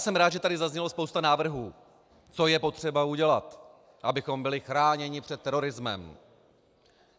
Jsem rád, že tady zaznělo spoustu návrhů, co je potřeba udělat, abychom byli chráněni před terorismem.